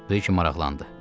Bə ki maraqlandı.